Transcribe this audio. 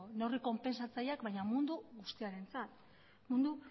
neurri konpensatzaileak baina mundu guztiarentzat mundu